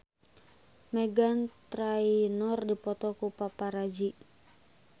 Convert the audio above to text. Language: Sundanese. Meghan Trainor dipoto ku paparazi